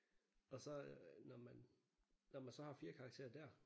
Og så når man når man så har 4 karakterer der